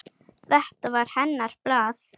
Þetta var hennar hlaða.